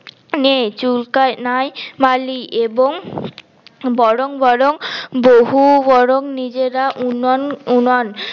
নে চুলকাই নাই মালি এবং বরং বরং বহু বরং নিজেরা উনান উনান